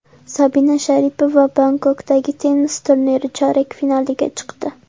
Sabina Sharipova Bangkokdagi tennis turniri chorak finaliga chiqdi.